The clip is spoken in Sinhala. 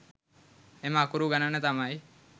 එම අකුරු ගණන තමයි